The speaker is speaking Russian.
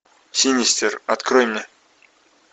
синистер открой мне